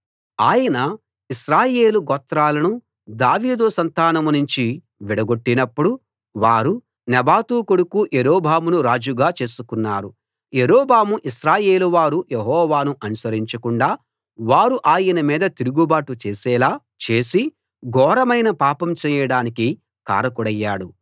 ఆయన ఇశ్రాయేలు గోత్రాలను దావీదు సంతానం నుంచి విడగొట్టినప్పుడు వారు నెబాతు కొడుకు యరొబామును రాజుగా చేసుకున్నారు యరొబాము ఇశ్రాయేలు వారు యెహోవాను అనుసరించకుండా వారు ఆయన మీద తిరుగుబాటు చేసేలా చేసి ఘోరమైన పాపం చెయ్యడానికి కారకుడయ్యాడు